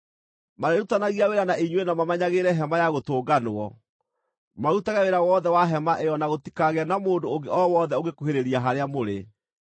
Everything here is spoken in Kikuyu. Marĩrutithanagia wĩra na inyuĩ na mamenyagĩrĩre Hema-ya-Gũtũnganwo, marutage wĩra wothe wa Hema ĩyo na gũtikagĩe na mũndũ ũngĩ o wothe ũngĩkuhĩrĩria harĩa mũrĩ.